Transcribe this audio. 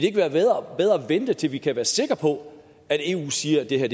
ikke være bedre at vente til vi kan være sikre på at eu siger at det her